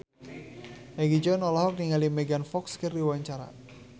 Egi John olohok ningali Megan Fox keur diwawancara